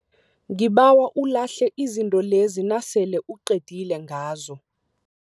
Ngibawa ulahle izinto lezi nasele uqedile ngazo.